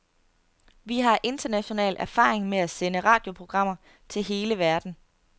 Vi har international erfaring med at sende radioprogrammer til hele verden.